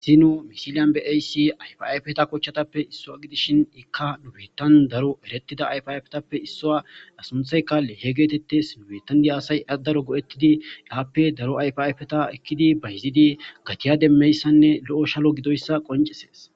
zi no misiliyan beaysi ayfayfeta kochchatappe issoa gidishin ikka dubetan daro erettida ayfayfetappe issowa asunthaykae he geetettes nubetandi aasay adaro go7ettidi aappe daro ayfayfeta ekkidi bayizidi gatiya demmeyssanne lo7o shalo gidoyssa qoncesees